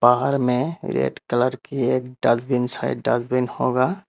बाहर में red colour की एक डस्टबिन साइड डस्टबिन होगा।